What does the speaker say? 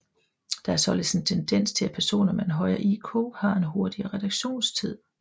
Der er således en tendens til at personer med en højere IQ har en hurtigere reaktionstid